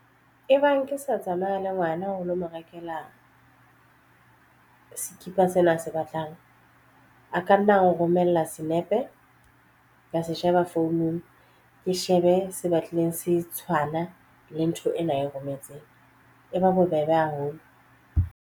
E bang ke sa tsamaya le ngwana ho lo mo rekela sekipa sena ase batlang a kanna a romella senepe ya se sheba founung ke shebe se batlile se tshwana le ntho ena e rometseng e ba bobebe haholo.